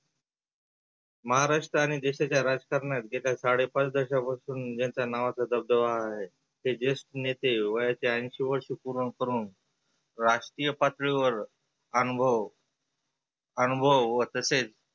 महाराष्ट्र आणि देशाच्या राजकारणात जे काय साडे पाच दशकापासून ज्यांच्या नाचाचा दबदबा आहे. ते जेष्ठ नेते वयाचे ऐंंशी वर्ष पुर्ण करुण राष्ट्रीय पातळीवर आनुभव अनुभव व तसेच